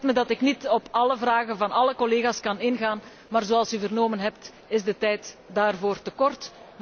Het spijt mij dat ik niet op alle vragen van alle collega's kan ingaan, maar zoals u vernomen heeft is de tijd daarvoor te kort.